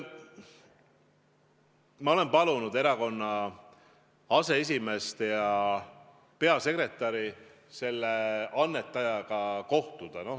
Ma olen palunud erakonna aseesimeest ja peasekretäri selle annetajaga kohtuda.